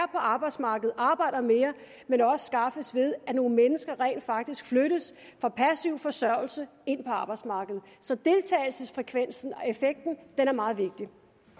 arbejdsmarkedet arbejder mere men også skaffes ved at nogle mennesker rent faktisk flyttes fra passiv forsørgelse ind på arbejdsmarkedet så deltagelsesfrekvensen og effekten er meget vigtig